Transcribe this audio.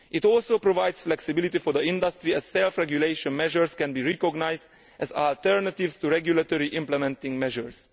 It also provides flexibility for the industry, as self regulation measures can be recognised as alternatives to regulatory implementing measures.